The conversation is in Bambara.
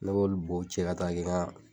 Ne b'olu bo cɛ ka taa kɛ n ka